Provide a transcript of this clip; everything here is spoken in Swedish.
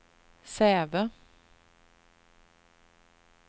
Säve